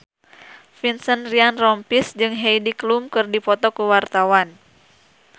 Vincent Ryan Rompies jeung Heidi Klum keur dipoto ku wartawan